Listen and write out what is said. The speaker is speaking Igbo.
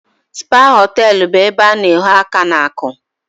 Spa hoteelu bụ ebe a na ahọ aka n'aku